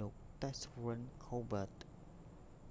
លោក ស្តេហ្វិន ខូលប៊ើត stephen colbert